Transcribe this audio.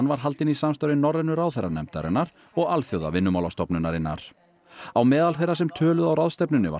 var haldin í samstarfi Norrænu ráðherranefndarinnar og Alþjóðavinnumálastofnunarinnar á meðal þeirra sem töluðu á ráðstefnunni var